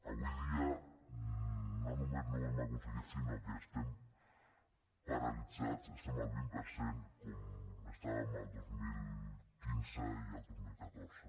avui dia no només no ho hem aconseguit sinó que estem paralitzats estem al vint per cent com estàvem el dos mil quinze i el dos mil catorze